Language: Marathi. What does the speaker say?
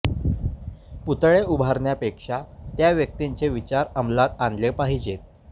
पुतळे उभारण्यापेक्षा त्या व्यक्तींचे विचार आमलात आणले पाहिजेत